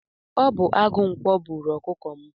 Ọ bu agụ ǹkwọ bụrụ ọkụkọ m